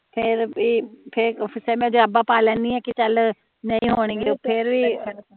ਫੇਰ ਵੀ ਫੇਰ ਮੈ ਜਰਾਬਾਂ ਪਾ ਲੈਨੀ ਆ ਕੇ ਚਲ ਨਹੀਂ ਹੋਣੇ ਫੇਰ ਵੀ